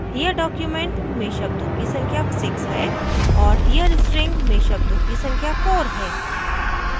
here document में शब्दों की संख्या 6 है और here string में शब्दों की संख्या 4 है